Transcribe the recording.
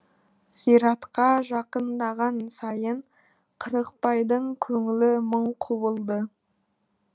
зиратқа жақындаған сайын қырықбайдың көңілі мың құбылды